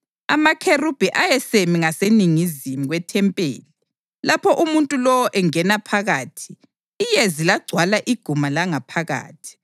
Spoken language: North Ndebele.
Amakherubhi ayesemi ngaseningizimu kwethempeli lapho umuntu lowo engena phakathi, iyezi lagcwala iguma langaphakathi.